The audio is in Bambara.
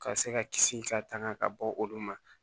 Ka se ka kisi ka tanga ka bɔ olu ma